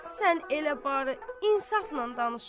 Sən elə bari insaflan danış!